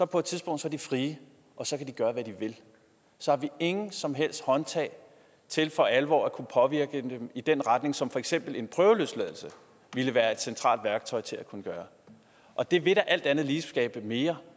på et tidspunkt fri og så kan de gøre hvad de vil så har vi ingen som helst håndtag til for alvor at kunne påvirke dem i den retning som for eksempel en prøveløsladelse ville være et centralt værktøj til at kunne gøre og det vil da alt andet lige skabe mere